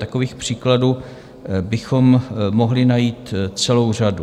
Takových příkladů bychom mohli najít celou řadu.